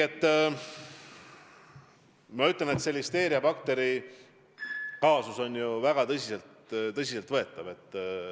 Ma ütlen, et see listeeriabakteri kaasus on väga tõsiselt võetav.